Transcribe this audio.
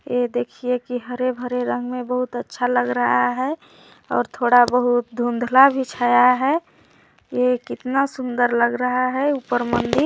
यह देखिये की हरे -भरे रंग मे बहुत अच्छा लग रहा है और थोड़ा बहुत धुंधला भी छाया है ये कितना सुन्दर लग रहा है ऊपर मंदिर --